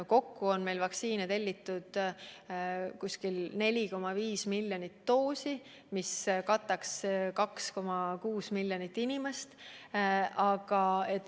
Kokku on meil vaktsiine tellitud 4,5 miljonit doosi, mis kataks 2,6 miljoni inimese vajaduse.